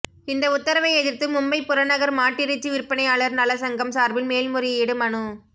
இந்த உத்தரவை எதிர்த்து மும்பை புறநகர் மாட்டிறைச்சி விற்பனையாளர் நல சங்கம் சார்பில் மேல்முறையீடு மனு